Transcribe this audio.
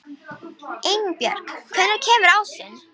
Einbjörg, hvenær kemur ásinn?